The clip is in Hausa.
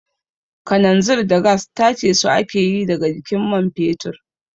Kananzir da gas tace su ake yi daga jikin man fetur